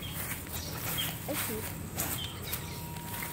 этюд